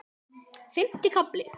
Fimmti kafli